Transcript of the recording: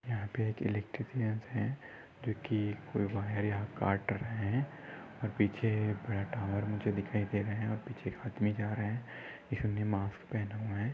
यहाँ पे एक इलेक्ट्रिक है जो की कोई बाहर यहाँ काट रहे है और पीछे बैठा हुआ और मुझे दिखाई दे रहे है और पीछे एक आदमी जा रहे है इस ने मास्क पहना है।